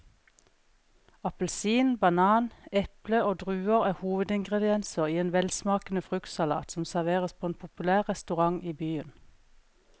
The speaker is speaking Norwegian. Appelsin, banan, eple og druer er hovedingredienser i en velsmakende fruktsalat som serveres på en populær restaurant i byen.